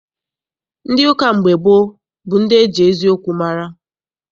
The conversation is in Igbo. Ndị ụka mgbe gboo bụ ndị eji eziokwu mara.